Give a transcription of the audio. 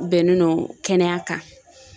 Bɛnnen no kɛnɛya kan